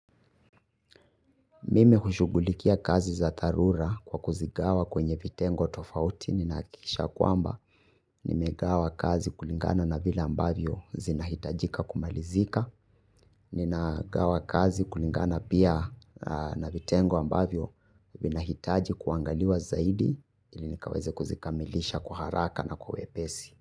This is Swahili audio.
Mimi hushughulikia kazi za dharura kwa kuzigawa kwenye vitengo tofauti, ninahakisha kwamba, nime gawa kazi kulingana na vila ambavyo zinahitajika kumalizika, nina gawa kazi kulingana pia na vitengo ambavyo vinahitaji kuangaliwa zaidi, ili nikaweze kuzikamilisha kwa haraka na kwa wepesi.